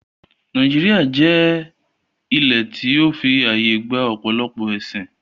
Nàíjíríà jẹ́ ilẹ̀ tí ó fi àyè gba ọ̀pọ̀lọpọ̀ ẹ̀sín